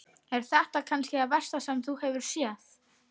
Er þetta kannski það versta sem þú hefur séð?